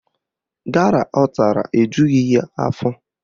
Gala ọ tara ejughị ya afọ